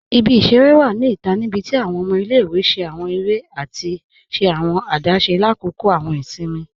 Ibi-iṣẹ̀rẹ̀ wa ni ita nibíti awọn ọmọ ilẹ̀-iwe ṣẹ̀ awọn èrè àti ṣẹ̀ awọn àdásé lákọ́kọ̀ awọn ìṣìnmi.